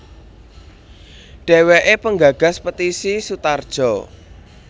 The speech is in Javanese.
Dheweke penggagas Petisi Sutarjo